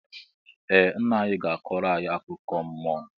Ee ńnà anyị gá akọro anyị akụkọ mmụọ.